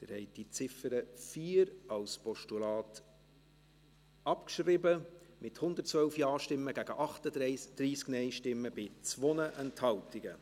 Sie haben die Ziffer 4 als Postulat abgeschrieben, mit 112 Ja- gegen 38 Nein-Stimmen bei 2 Enthaltungen.